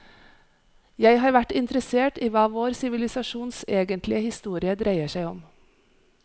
Jeg har vært interessert i hva vår sivilisasjons egentlige historie dreier seg om.